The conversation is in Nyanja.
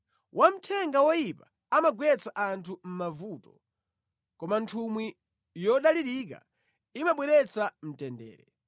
Wamthenga woyipa amagwetsa anthu mʼmavuto, koma nthumwi yodalirika imabweretsa mtendere.